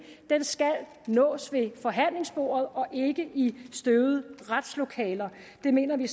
skal nås ved forhandlingsbordet og ikke i støvede retslokaler det mener vi